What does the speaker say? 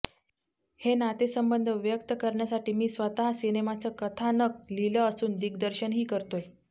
हे नातेसंबंध व्यक्त करण्यासाठी मी स्वतः सिनेमाचं कथानक लिहिलं असून दिग्दर्शनही करतेय